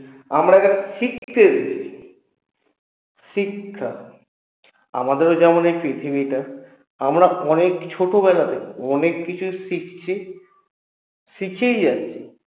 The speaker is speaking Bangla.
আমরা যারা শিক্ষা দিচ্ছি শিক্ষা আমাদেরও যেমন এই পৃথিবীটা আমরা অনেক ছোটবেলা থেকে অনেককিছু শিখছি শিখেই যাচ্ছি